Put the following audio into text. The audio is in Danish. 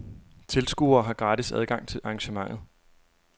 Tilskuere har gratis adgang til arrangementet.